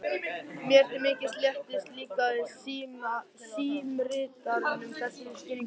Mér til mikils léttis líkaði símritaranum þessi skýring vel.